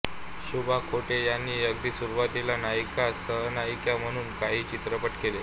शुभा खोटे यांनी अगदी सुरुवातीला नायिका सहनायिका म्हणून काही चित्रपट केले